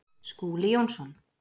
Skúli Jónsson